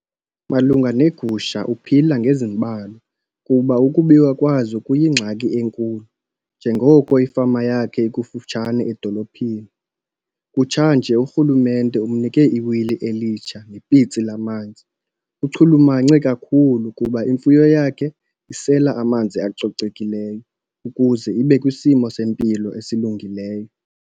Malunga neegusha uphila ngezimbalwa kuba ukubiwa kwazo kuyingxaki enkulu njengoko ifama yakhe ikufutshane edolophini. Kutshanje uRhulumente umnike iwili elitsha nepitsi lamanzi. Uchulumache kakhulu kuba imfuyo yakhe isela amanzi acocekileyo ukuze ibe kwisimo sempilo esilungileyo.